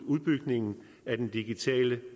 udbygningen af den digitale